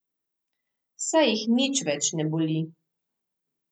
Saj jih nič več ne boli.